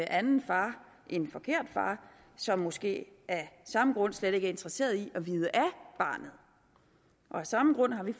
anden far en forkert far som måske af samme grund slet ikke er interesseret i at vide af barnet af samme grund har vi